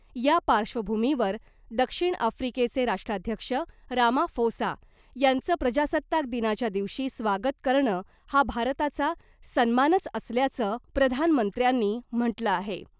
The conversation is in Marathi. या पार्श्वभूमीवर दक्षिण आफ्रीकेचे राष्ट्राध्यक्ष रामाफोसा यांचं प्रजासत्ताक दिनाच्या दिवशी स्वागत करणं हा भारताचा सन्मानच असल्याचं प्रधानमंत्र्यांनी म्हटलं आहे .